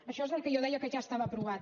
això és el que jo deia que ja estava aprovat